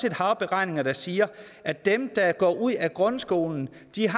et hav beregninger der siger at dem der går ud af grundskolen